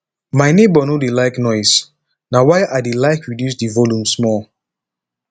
my neighbor no dey like noise na why i dey like reduce the volume small